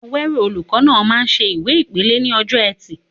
Awero, olùkọ́ náà, máa ń ṣe ìwé ìpele ní ọjọ́ Ẹtì.